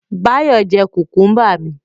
Báyọ̀ jẹ́ kùkúmbà mi